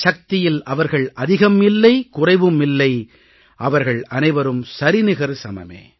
சக்தியில் அவர்கள் அதிகம் இல்லை குறைவும் இல்லை அவர்கள் அனைவரும் சரிநிகர் சமமே